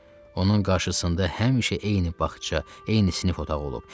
Onun qarşısında həmişə eyni bağça, eyni sinif otağı olub.